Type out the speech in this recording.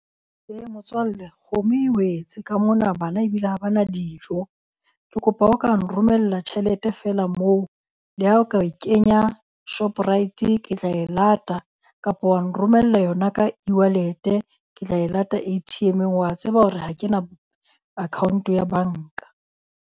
Ee motswalle kgomo e wetse ka mona bana ebile ha bana dijo. Ke kopa ha o ka nromella tjhelete feela moo. Le ha o ka e kenya Shoprite ke tla e lata. Kapa wa nromella yona ka e-wallet-e, Ke tla e lata A_T_M-ng. Wa tseba hore ha kena account ya banka.